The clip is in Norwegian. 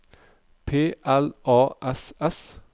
P L A S S